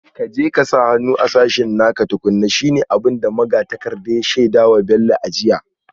Ka je ka sa hannu a sashen naka tukuna, shi ne abin da magatakardar ya shaida wa Bello a jiya